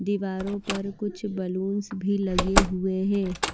दीवारों पर कुछ बैलूंस भी लगे हुए हैं।